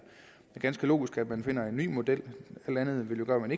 ganske logisk at man finder en ny model alt andet vil jo gøre at man